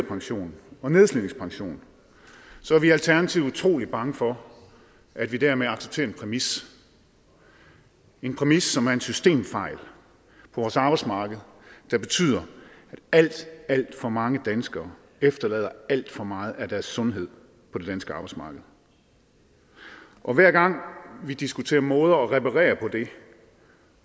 pension og nedslidningspension er vi i alternativet utrolig bange for at vi dermed accepterer en præmis en præmis som er en systemfejl på vores arbejdsmarked der betyder at alt alt for mange danskere efterlader alt for meget af deres sundhed på det danske arbejdsmarked og hver gang vi diskuterer måder at reparere på det